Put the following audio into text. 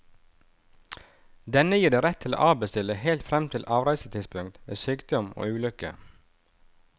Denne gir deg rett til å avbestille helt frem til avreisetidspunktet ved sykdom og ulykke.